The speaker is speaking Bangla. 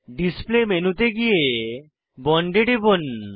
ডিসপ্লে মেনুতে গিয়ে বন্ড এ টিপুন